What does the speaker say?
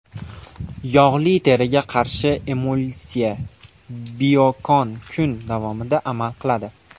Yog‘li teriga qarshi emulsiya Biokon kun davomida amal qiladi.